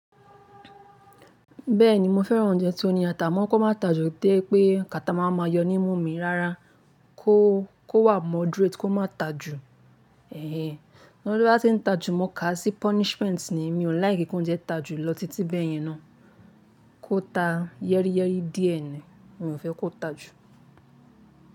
Bẹ́ẹ̀ni mo fẹ́ran oúnjẹ tó ní ata, a mo kó máa tajù té pé kata má wa máa yọ nímu mi rárá, kó, kó wà moderate kó má ta jù. Ẹ̀hẹ̀ẹ́, nítori to ba ń ti ta jù mo kà á sí punishment ni, mi ò like kí oúnjẹ ta jù lọ titi bẹ́ẹ̀ yẹn ná. Kó ta yẹ́ríyẹ́rí díẹ̀ ni, mi ò fẹ́ kó ta jù.